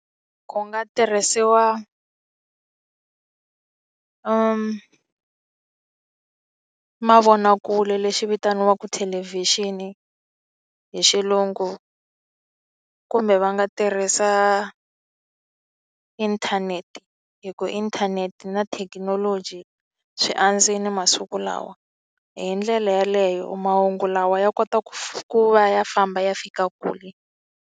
Ku nga tirhisiwa mavonakule lexi vitaniwaka thelevhixini hi xilungu kumbe va nga tirhisa inthanete hi ku inthanete na thekinoloji swi andzile masiku lawa hi ndlela yeleyo mahungu lawa ya kota ku ku va ya famba ya fika kule.